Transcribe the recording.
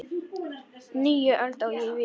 Nýja öld, á ég við.